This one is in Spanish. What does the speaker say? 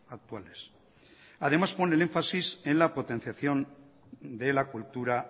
actuales además pone el énfasis en la potenciación de la cultura